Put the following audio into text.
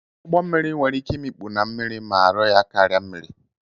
Ụgbọ mmiri nwere ike imikpu na mmiri ma arọ ya karia mmiri.